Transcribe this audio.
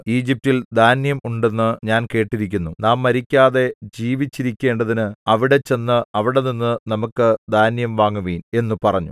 ഈജിപ്റ്റിൽ ധാന്യം ഉണ്ടെന്ന് ഞാൻ കേട്ടിരിക്കുന്നു നാം മരിക്കാതെ ജീവിച്ചിരിക്കേണ്ടതിന് അവിടെ ചെന്ന് അവിടെനിന്നു നമുക്കു ധാന്യം വാങ്ങുവിൻ എന്നു പറഞ്ഞു